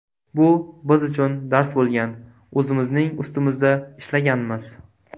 Bu biz uchun dars bo‘lgan, o‘zimizning ustimizda ishlaganmiz.